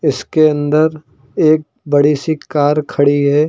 इसके अंदर एक बड़ी सी कार खड़ी है।